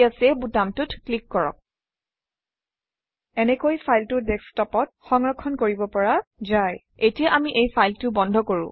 এতিয়া চেভ বুটামটোত ক্লিক কৰক এনেকৈ ফাইলটো ডেস্কটপত সংৰক্ষণ কৰিব পৰা যায় এতিয়া আমি এই ফাইলটো বন্ধ কৰোঁ